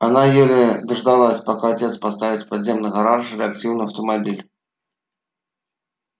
она еле дождалась пока отец поставит в подземный гараж реактивный автомобиль